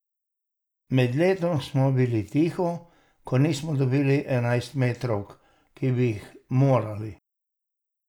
Med letom smo bili tiho, ko nismo dobili enajstmetrovk, ki bi jih morali.